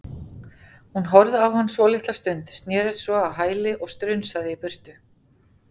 Hún horfði á hann svolitla stund, snerist svo á hæli og strunsaði í burtu.